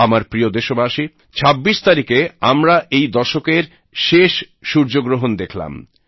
আমার প্রিয় দেশবাসী ছাব্বিশ তারিখে আমরা এই দশকের শেষ সূর্যগ্রহণ দেখলাম